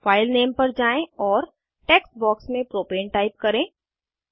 file name पर जाएँ और टेक्स्ट बॉक्स में प्रोपेन टाइप करें